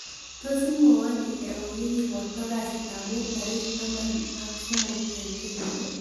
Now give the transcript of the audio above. Tos' imwowon ile au yegiporto kasitap mut tarigit taman ak somok eng' kenyini